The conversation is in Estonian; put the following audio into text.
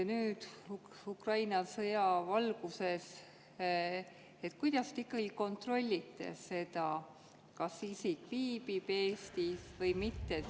Kuidas te Ukraina sõja valguses kontrollite seda, kas isik viibib Eestis või mitte?